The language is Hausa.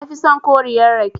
Nafi son koriyar rake.